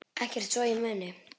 Ekkert svo ég muni.